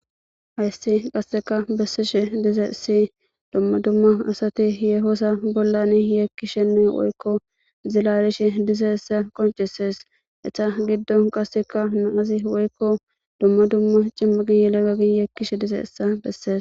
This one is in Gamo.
Hayssi qasseka bessishe dizayssi dumma dumma yeho assa bolla yekishe woykko zilalishe dizayssa qoncisess. Eththa gidon qasseka na'zi woykko dumma dumma cimathi yelagathi yekishe dizayssi besses.